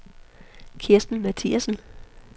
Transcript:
Kristen Mathiasen